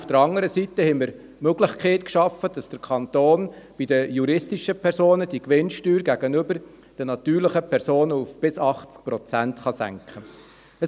Auf der anderen Seite haben wir die Möglichkeit geschaffen, dass der Kanton bei den juristischen Personen die Gewinnsteuer gegenüber den natürlichen Personen bis 80 Prozent senken kann.